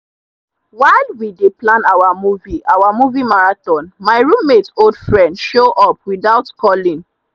while we dey plan our movie our movie marathon my roommate old friend show up without calling.